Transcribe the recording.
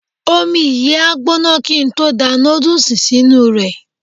Omi yìí á gbóná kí n tó da nódùsì sínú rẹ̀